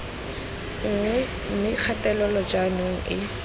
nngwe mme kgatelelo jaanong e